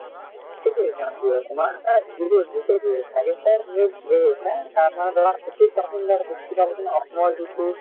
সেইটো exam টো তোমাৰ যিবোৰ থাকে তাৰ পৰা ধৰা fifty percent মান question অসমত যিটো